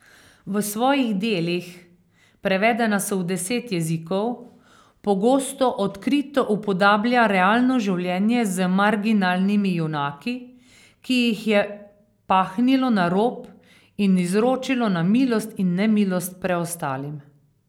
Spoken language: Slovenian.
V svojih delih, prevedena so v deset jezikov, pogosto odkrito upodablja realno življenje z marginalnimi junaki, ki jih je pahnilo na rob in izročilo na milost in nemilost preostalim.